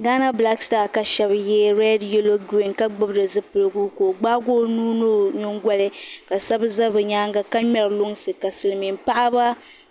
Gaana bilaak sitaa ka shaba yɛ rɛɛd yelo giriin ka gbubi di zipiligu ka o gbaagi o nuuni ni o nyingoli ka shaba za bi nyaanga ka ŋmeri luŋsi ka silmiin paɣaba